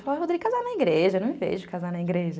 Eu falo, Rodrigo, casar na igreja, não me vejo casar na igreja.